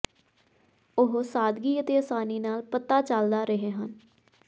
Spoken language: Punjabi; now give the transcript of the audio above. ਉਹ ਸਾਦਗੀ ਅਤੇ ਆਸਾਨੀ ਨਾਲ ਪਤਾ ਚੱਲਦਾ ਰਹੇ ਹਨ